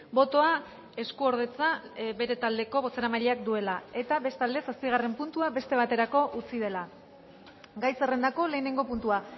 botoa eskuordetza bere taldeko bozeramaileak duela eta bestalde zazpigarren puntua beste baterako utzi dela gai zerrendako lehenengo puntua